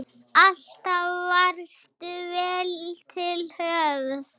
Alltaf varstu vel til höfð.